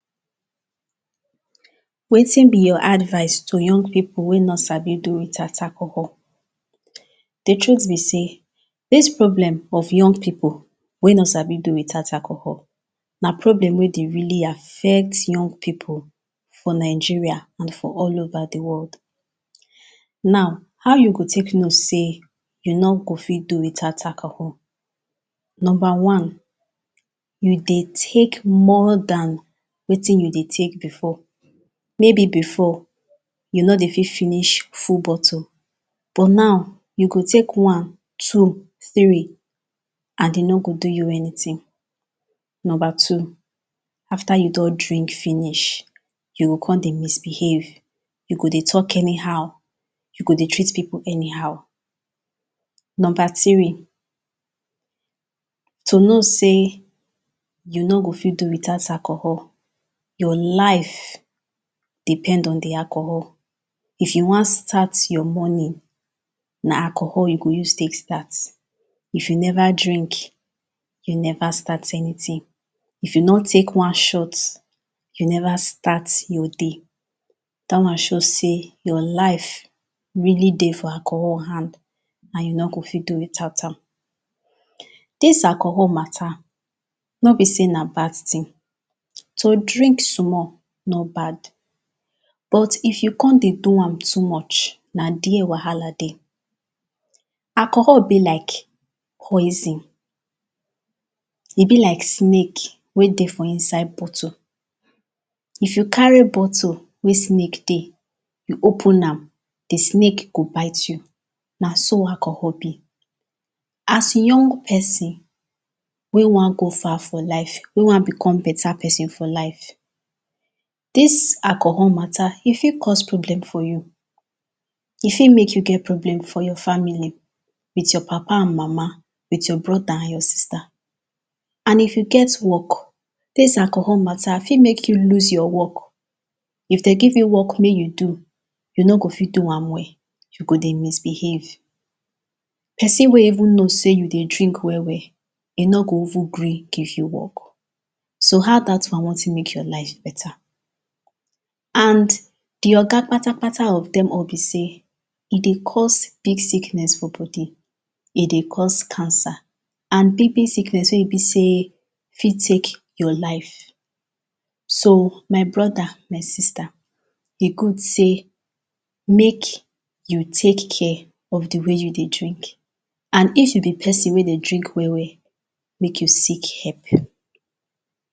Wetin be your advise to young people wey no sabi do without alcohol the truth be say dis problem of young pipo wey no sabi do without alcohol na problem wey dey really affect young people for Nigeria and for all over the world. Now, how you go tek know say you no go fit to without alcohol number one, you dey tek more than wetin you dey tek before maybe before you no dey fit finish full bottle But now you go tek one, two, three and eh no go do you anything. Number two afta you don drink finish you go come dey misbehave you go dey talk anyhow you go dey treat people anyhow. Number three to know sey you no go fit do without alcohol your life depend on the alcohol if you wan start your morning na alcohol you go use tek start If you never drink you never start anything if you no take one shot you never start your day that one show say your life really dey alcohol hand and you no go fit do without am dis alcohol matter, no be say na bad thing to drink small no bad but if you come dey do am too much, na there Wahala dey Alcohol be like poison eh be like snake wey dey for inside bottle, if you carry bottle wey snake dey you open am, the snake go bite you Na so alcohol be, as young person wey wan go far for life, wey wan become better person for life dis alcohol matter eh fit cause problem for you, eh fit mek you get problem for your family with your papa and mama, with your brother and your sister. And if you get work, this alcohol matter fit mek you lose your work if them give you work mek you do, you no go fit do am well you go dey misbehave. Person wey even know say you dey drink well well, eh no go even gree give you work so how that one wan tek mek your life better? And the oga patapata of dem all be say eh dey cause big sickness for body eh dey cause cancer. And big big sickness wey be say eh fit take your life So, my brother, my sister, eh good say mek you tek care of the way you dey drink and if you be person wey dey drink well well mek you seek help.